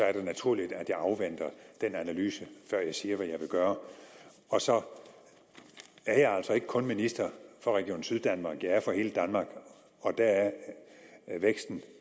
er det naturligt at jeg afventer den analyse før jeg siger hvad jeg vil gøre og så er jeg altså ikke kun minister for region syddanmark jeg er det for hele danmark og der er væksten